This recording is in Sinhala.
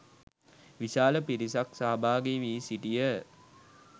විශාල පිරිසක් සහභාගී වී සිටියහ